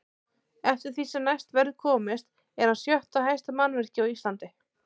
Eftir því sem næst verður komist er hann sjötta hæsta mannvirki á Íslandi.